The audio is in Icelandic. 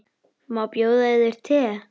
Má bjóða yður te?